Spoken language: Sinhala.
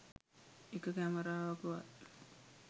එක කැමරාවකවත්